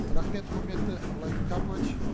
рахмет құрметті владимир карпович